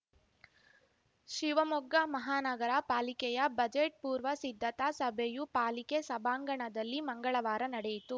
ಶಿವಮೊಗ್ಗ ಮಹಾನಗರ ಪಾಲಿಕೆಯ ಬಜೆಟ್‌ ಪೂರ್ವ ಸಿದ್ಧತಾ ಸಭೆಯು ಪಾಲಿಕೆ ಸಭಾಂಗಣದಲ್ಲಿ ಮಂಗಳವಾರ ನಡೆಯಿತು